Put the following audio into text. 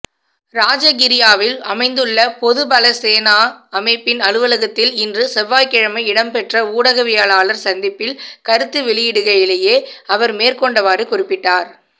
ராஜகிரியவில் அமைந்துள்ள பொதுபலசேனா அமைப்பின் அலுவலகத்தில் இன்று செவ்வாய்கிழமை இடம்பெற்ற ஊடகவியலாளர் சந்திப்பில் கருத்து வெளியிடுகையிலேயே அவர் மேற்கண்டவாறு குறிப்பிட்டார்